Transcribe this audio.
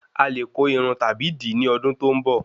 Alè ko Irun tàbí di ni ọdún tó ń bọ